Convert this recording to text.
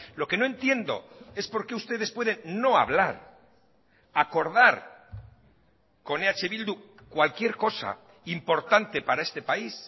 lo que no entiendo es por qué ustedes pueden no hablar acordar con eh bildu cualquier cosa importante para este país